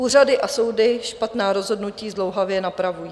Úřady a soudy špatná rozhodnutí zdlouhavě napravují.